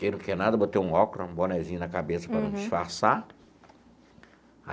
Quem não quer nada, botei um óculos, um bonézinho na cabeça para disfarçar.